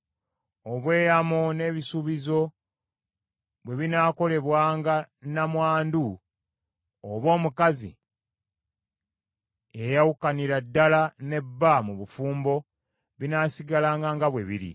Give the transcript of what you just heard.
“Obweyamo n’ebisuubizo bwe binaakolebwanga nnamwandu oba omukazi eyayawukanira ddala ne bba mu bufumbo, binaasigalanga nga bwe biri.